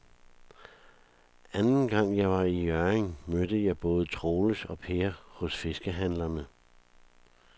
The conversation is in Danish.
Anden gang jeg var i Hjørring, mødte jeg både Troels og Per hos fiskehandlerne.